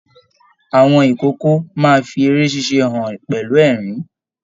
Àwọn ikòkò máa fí eré ṣíṣe hàn pẹlú ẹrín.